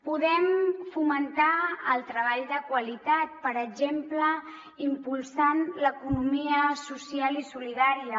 podem fomentar el treball de qualitat per exemple impulsant l’economia social i solidària